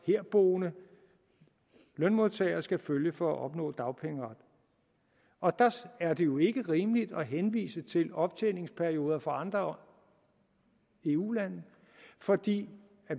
herboende lønmodtagere skal følge for at opnå dagpengeret og der er det jo ikke rimeligt at henvise til optjeningsperioder for andre eu lande fordi